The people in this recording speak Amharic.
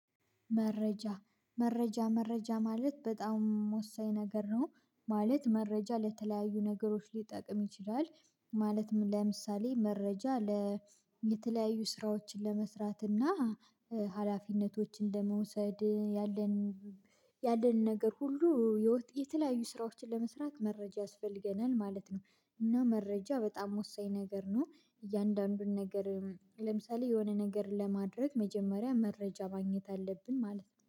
መረጃ መረጃ መረጃ ማለት በጣም ወሳኝ ነገር ነው። ማለት መረጃ ለተለያዩ ነገሮች ሊጠቅም ይችላል። ማለትም ለምሳሌ መረጃ ለተለያዩ ስራዎችን ለመስራት እና ሀላፊነቶችን ለመውሰድ ያለን ያለንን ነገር ሁሉ የተለያዩ ስራዎችን ለመስራት መረጃ ያስፈልገናል ማለት ነው። እና መረጃ በጣም ወሳኝ ነገር ነው። እያንዳንዱን ነገር ለምሳሌ የሆነ ነገር ለማድረግ መጀመሪያ መረጃ ማግኘት አለብን ማለት ነው